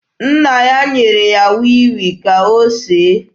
Nna ya nyere ya wii wii ka o see.